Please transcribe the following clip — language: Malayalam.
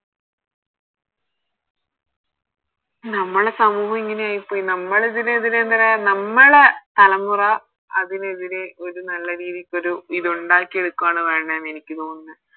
നമ്മളെ സമൂഹം ഇങ്ങനെ ആയിപോയി നമ്മളിതിനെതിരെ നമ്മളെ തലമുറ അതിനെതിരെ ഒരു നല്ല രീതിക്കൊരു ഇത് ഇണ്ടാക്കിയെടു ആണ് വേണ്ടെന്ന എനിക്ക് തോന്നുന്നേ